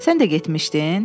Sən də getmişdin?